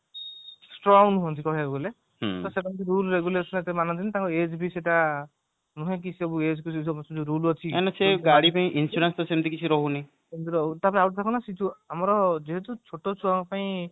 strong ନୁହନ୍ତି କହିବାକୁ ଗଲେ ତ ସେ କେମତି rule regulation ଏତେ ମାନନ୍ତି ନି ତାଙ୍କ age ବି ସେଟା ନୁହେଁ କି ସେ rule ଅଛି ତାପରେ ଆଉ ଗୋଟେ କଣ ସେ ଯୋଉ ଆମର ଯେହେତୁ ଛୋଟ ଛୁଆଙ୍କ ପାଇଁ